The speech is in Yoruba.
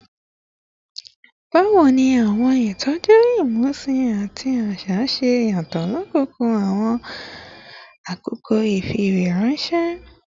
Bawo ni awọn itọju imusin ati ti aṣa ṣe yatọ lakoko awọn akoko ifiweranṣẹ?